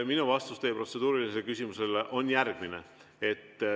Minu vastus teie protseduurilisele küsimusele on järgmine.